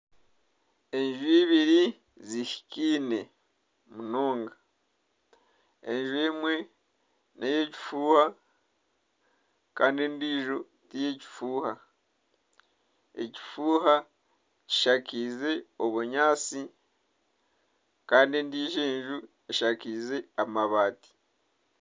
Enju ibiri zihikine munonga enju emwe ney'akafuuha kandi endiijo ti y'ekifuuha, ekifuuha kishakize obunyaatsi kandi endiijo enju eshakize amabaati.